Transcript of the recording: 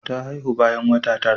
Ta haihu bayan wata tara.